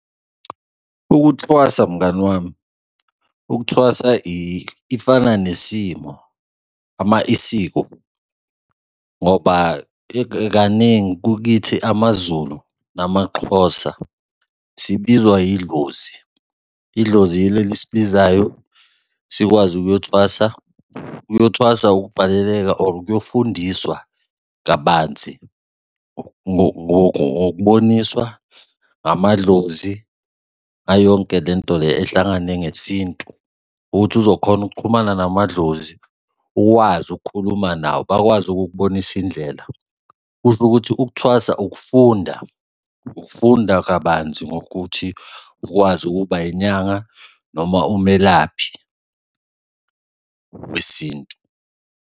Ukuthwasa mngani wami, ukuthwasa ifana nesimo, isiko, ngoba ikaningi kithi amaZulu, namaXhosa sibizwa yidlozi, idlozi yilo elibizayo sikwazi ukuyothwasa. Ukuyothwasa ukuvaleleka or ukuyofundiswa kabanzi ngokuboniswa amadlozi ngayo yonke le nto le ehlangane ngesintu ukuthi uzokhona ukuxhumana namadlozi, ukwazi ukukhuluma nawo bakwazi ukukubonisa indlela. Kusho ukuthi ukuthwasa ukufunda, ukufunda kabanzi ngokuthi ukwazi ukuba inyanga noma umelaphi wesintu.